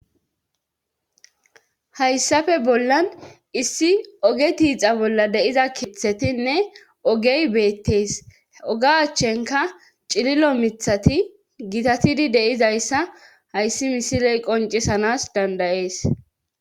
hayssafe bollan issi oge tiixa bolla deiza kithetinne ogey beettees oga achchenka cililo mithati gitatidi deizayssa hayssi misiley qoncisanas dandayees